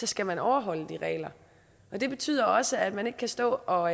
skal man overholde de regler og det betyder også at man ikke kan stå og